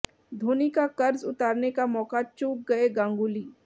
धोनी का कर्ज उतारने का मौका चूक गए गांगुली